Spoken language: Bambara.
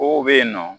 Kow be yen nɔ